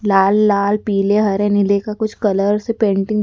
लाल लाल पीले हरे नीले का कुछ कलर से पेंटिंग --